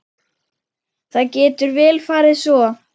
Það getur vel farið svo.